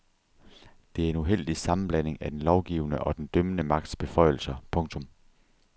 Det er en uheldig sammenblanding af den lovgivende og den dømmende magts beføjelser. punktum